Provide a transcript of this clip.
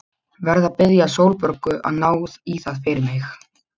Verð að biðja Sólborgu að ná í það fyrir mig.